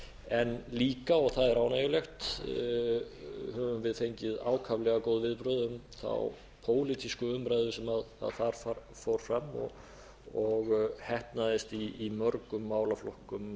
en líka og það er ánægjulegt höfum við fengið ákaflega góð viðbrögð um þá pólitísku umræðu sem þar fór fram og heppnaðist í mörgum málaflokkum